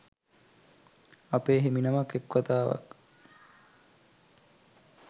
අපේ හිමිනමක් එක් වතාවක්